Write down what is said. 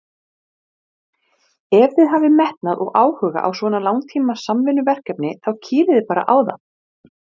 Ég er mjög spenntur fyrir því að vera hér.